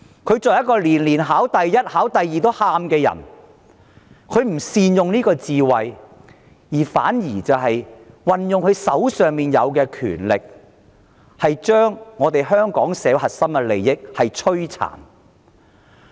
她是一個年年考第一名，連考第二名也會哭的人，但她未有善用智慧，反而運用手上的權力，把香港社會的核心利益摧殘。